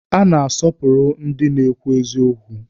A na-asọpụrụ ndị na-ekwu eziokwu.